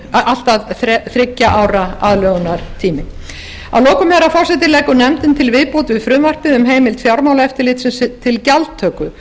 allt að þriggja ára aðlögunartími að lokum herra forseti leggur nefndin til viðbót við frumvarpið um heimild fjármálaeftirlitsins til gjaldtöku